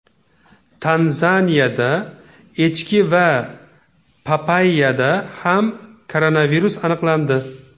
Tanzaniyada echki va papayyada ham koronavirus aniqlandi.